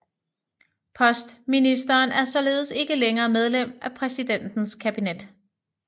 Postministeren er således ikke længere medlem af præsidentens kabinet